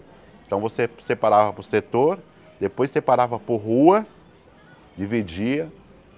Então você separava por setor, depois separava por rua, dividia.